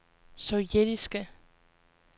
sovjetiske